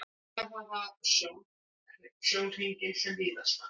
Reynt sé að hafa sjónhringinn sem víðastan.